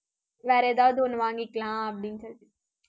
வேற எதாவது ஒண்ணு வாங்கிக்கலாம், அப்படின்னு சொல்லிட்டு